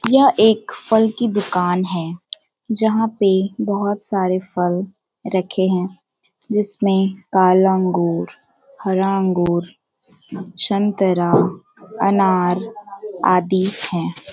यह एक फल की दुकान है जहाँ पे बहुत सारे फल रखे हैं। जिसमें काला अंगूर हरा अंगूर संतरा अनार आदि हैं।